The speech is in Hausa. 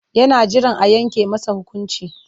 Yana jiran a yanke masa hukunci.